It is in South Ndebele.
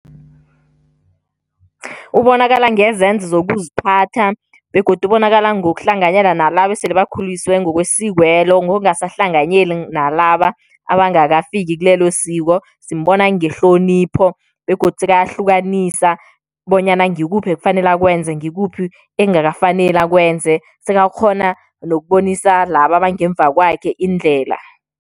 Ubonakala ngezenzo zokuziphatha begodu ubonakala ngokuhlanganyela nalaba esele bakhulisiwe ngokwesiko lelo ngokungasahlanganyeli nalaba abangakafiki kilelo siko, simbona ngehlonipho begodu sekayahlukanisa bonyana ngikuphi ekufanele akwenze ngikuphi ekungakafaneli akwenze sekakghona nokubonisa laba abangemva kwakhe indlela.